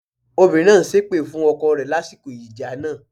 Obìnrin náà ń ṣépè fún ọkọ rẹ lásìkò ìjà náà.